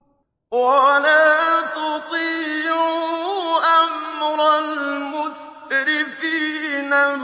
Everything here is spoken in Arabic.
وَلَا تُطِيعُوا أَمْرَ الْمُسْرِفِينَ